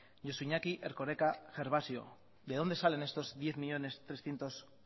josu iñaki erkoreka gervasio de dónde salen estos diez millónes trescientos